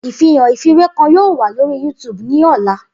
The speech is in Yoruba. Ifihan ifiwe kan yoo wa lori YouTube ni ọla.